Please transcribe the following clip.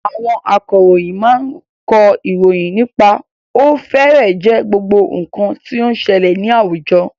Àwọn akọ̀ròyìn máa kọ ìròyìn nípa ó fẹ́rẹ̀ẹ́ jẹ́ gbogbo nǹkan tí ó n ṣẹlẹ̀ ní àwùjọ.